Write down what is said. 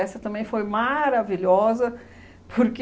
também foi maravilhosa, porque